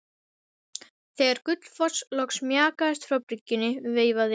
Þegar Gullfoss loks mjakaðist frá bryggjunni veifaði